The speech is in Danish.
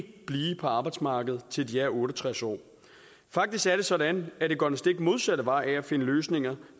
blive på arbejdsmarkedet til de er otte og tres år faktisk er det sådan at det går den stik modsatte vej af at finde løsninger